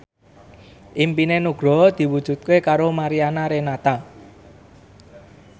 impine Nugroho diwujudke karo Mariana Renata